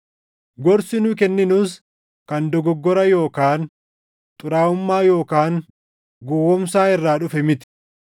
Gorsi nu kenninus kan dogoggora yookaan xuraaʼummaa yookaan gowwoomsaa irraa dhufe miti.